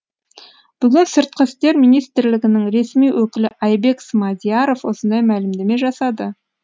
бүгін сыртқы істер министрілгінің ресми өкілі айбек смадияров осындай мәлімдеме жасады